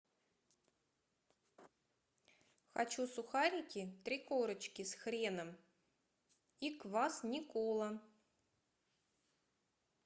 хочу сухарики три корочки с хреном и квас никола